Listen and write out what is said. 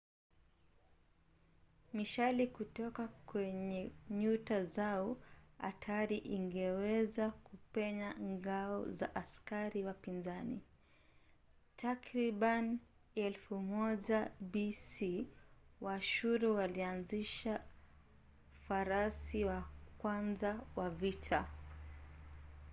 mishale kutoka kwenye nyuta zao hatari ingeweza kupenya ngao za askari wapinzani. takribani 1000 bc waashuru walianzisha farasi wa kwanza wa vita